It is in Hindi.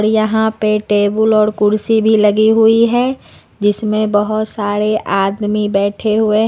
यहां पे टेबुल और कुर्सी भी लगी हुई है जिसमें बहोत सारे आदमी बैठे हुए हैं।